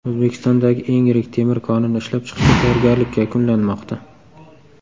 O‘zbekistondagi eng yirik temir konini ishlab chiqishga tayyorgarlik yakunlanmoqda.